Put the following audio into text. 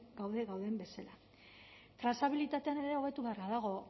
gaude gauden bezala trazabilitatean ere hobetu beharra dago